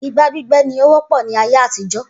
Igbá gbígbé ní ó wọ́pọ̀ ní ayé àtijó